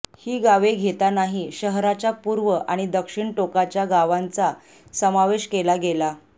ही गावे घेतानाही शहराच्या पूर्व आणि दक्षिण टोकाच्या गावांचा समावेश केला गेला